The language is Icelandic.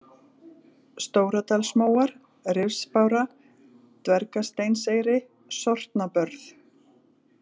Stóradalsmóar, Rifsbára, Dvergasteinseyri, Sortnabörð